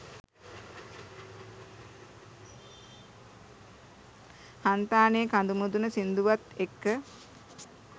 හන්තානෙ කඳුමුදුන සිංදුවත් එක්ක